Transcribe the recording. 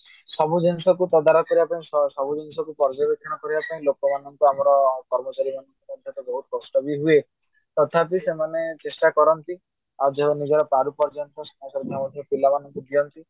ସବୁ ଜିନିଷକୁ ତଦାରଖ କରିବା ପାଇଁ ସବୁ ଜିନିଷକୁ ପର୍ଯ୍ୟବେକ୍ଷଣ କରିବା ପାଇଁ ଲୋକମାନଙ୍କୁ ଆମର କର୍ମଚାରୀ ମାନଙ୍କୁ ବହୁତ କଷ୍ଟ ବି ହୁଏ ତଥାବି ସେମାନେ ଚେଷ୍ଟା କରନ୍ତି ଆଉ ସେମାନେ ନିଜର ପାରୁ ପର୍ଯ୍ୟନ୍ତ ପିଲା ମାନଙ୍କୁ ଦିଅନ୍ତି।